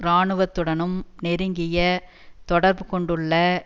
இராணுவத்துடனும் நெருங்கிய தொடர்பு கொண்டுள்ள